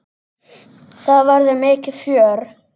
Það verður mikið fjör.